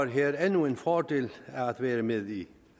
her endnu en fordel af at være med i